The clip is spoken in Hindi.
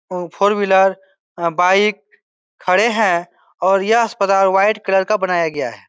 ओ फोर व्हीलर बाइक खड़े हैं और यह अस्पताल व्हाइट कलर का बनाया गया है।